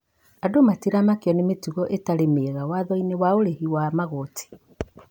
andũ matĩramakio nĩ mĩtugo ĩtarĩ mĩega wathoinĩ wa ũrĩhi wa magoti